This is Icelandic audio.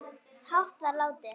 hátt var látið